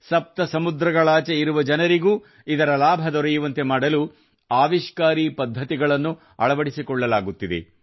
ಸಪ್ತ ಸಮುದ್ರಗಳಾಚೆ ಇರುವ ಜನರಿಗೂ ಇದರ ಲಾಭ ದೊರೆಯುವಂತೆ ಮಾಡಲು ಆವಿಷ್ಕಾರಿ ಪದ್ಧತಿಗಳನ್ನು ಅಳವಡಿಸಿಕೊಳ್ಳಲಾಗುತ್ತಿದೆ